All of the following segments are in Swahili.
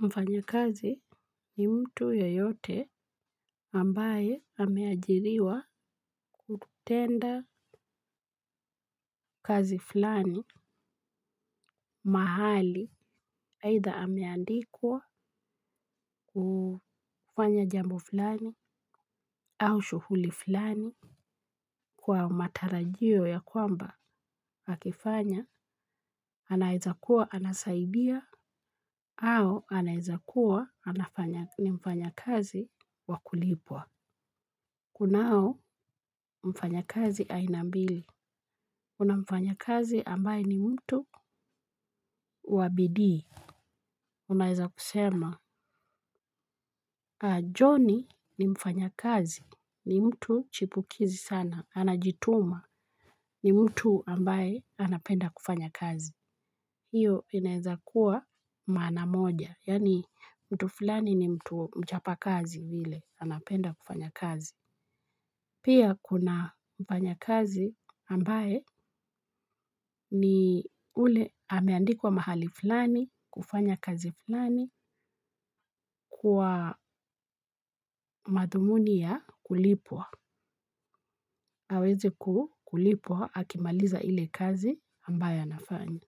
Mfanya kazi ni mtu yeyote ambaye ameajiriwa kutenda. Mfanya kazi ni mtu yeyote ambaye ameajiriwa kutenda hakifanya anaezakuwa anasaidia au anaezakuwa ni mfanya kazi wa kulipwa kunao mfanyakazi aina mbili kuna mfanyikazi ambao ni mtu wa bidii. Unaeza kusema Johnny ni mfanyakazi ni mtu chipukizi sana anajituma ni mtu ambaye anapenda kufanya kazi hiyo inaeza kuwa maana moja yaani mtu fulani ni mtu mchapakazi ile anapenda kufanya kazi. Pia kuna mfanyakazi ambaye ni ule ameandikwa mahali fulani kufanya kazi fulani kwa madhumuni ya kulipwa. Aweze kulipwa akimaliza ile kazi ambayo anafanya.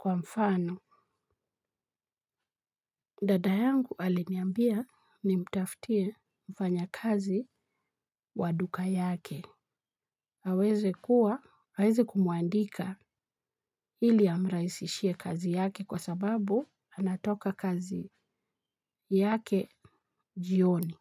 Kwa mfano, dada yangu aliniambia nimtafutie mfanyakazi wa duka yake. Aweze kuwa, aweze kumuandika ili amrahisishie kazi yake kwa sababu anatoka kazi yake jioni.